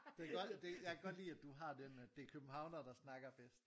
Det godt det jeg kan godt lide at du har den at det er københavnere der snakker bedst